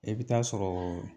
I bɛ taa sɔrɔ